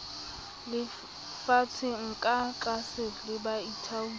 lefshwang ka tlaase le baithaopi